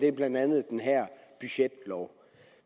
er blandt andet den her budgetlov